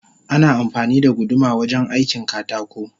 Ana amfani da guduma wajen aikin katako